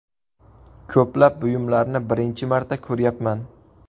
Ko‘plab buyumlarni birinchi marta ko‘ryapman.